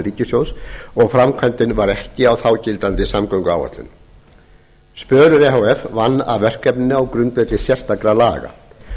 ríkissjóðs og framkvæmdin var ekki á þágildandi samgönguáætlun spölur e h f vann að verkefninu á grundvelli sérstakra laga